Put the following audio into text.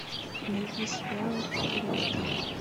найди сериал элита